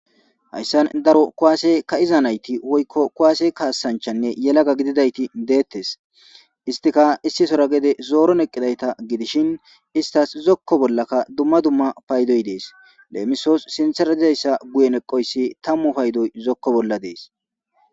Haysa daro kuwase kei'da nati woykko kuwase kasancha yelaga nayti detes istika issisara zori eqidaysata gidushin istasika zokoni duma duma paydotika des lemiso sintara eqidaysa guye tamu paydoy des